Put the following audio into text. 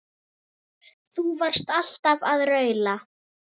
Þú varst alltaf að raula.